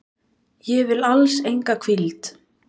Ég vil alls enga hvíld.